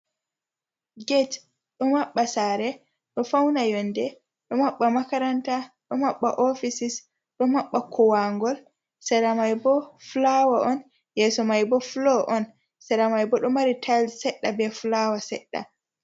Get ɗo mabɓa sare, ɗo fauna yonde, ɗo mabɓa makaranta, ɗo mabɓa ofisis, ɗo mabɓa kowangol. Sera mai bo flawa on yeso mai bo flo on, sera mai bo ɗo mari tails sedda be flawa seɗɗa.